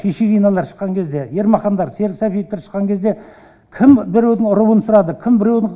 шишигиналар шыққан кезде ермахандар серік сәпиевтер шыққан кезде кім біреудің руын сұрады кім біреудің